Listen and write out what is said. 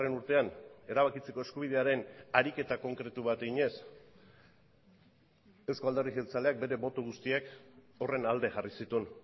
urtean erabakitzeko eskubidearen ariketa konkretu bat eginez euzko alderdi jeltzaleak bere boto guztiak horren alde jarri zituen